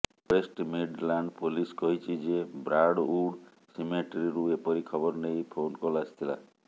West Midland police କହିଛି ଯେ Brandwood ସିମେଟ୍ରୀରୁ ଏପରି ଖବର ନେଇ ଫୋନ୍ କଲ୍ ଆସିଥିଲା